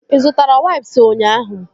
Ị zụtara waips ahụ ụnyaahụ?